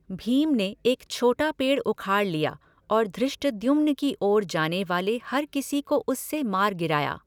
भीम ने एक छोटा पेड़ उखाड़ लिया और धृष्टद्युम्न की ओर जाने वाले हर किसी को उससे मार गिराया।